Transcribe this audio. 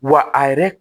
Wa a yɛrɛ